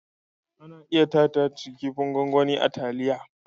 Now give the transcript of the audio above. Ana iya sa " Titus" kipin gwangwani a taliya.